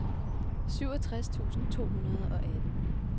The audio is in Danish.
syvogtres tusind to hundrede og atten